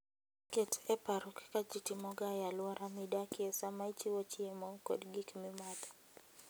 Ket e paro kaka ji timoga e alwora midakie sama ichiwo chiemo kod gik mimadho.